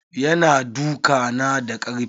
Ya na duka na da karfi.